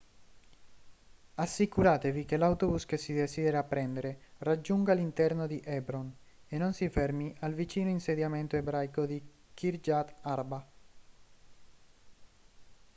assicuratevi che l'autobus che si desidera prendere raggiunga l'interno di hebron e non si fermi al vicino insediamento ebraico di kiryat arba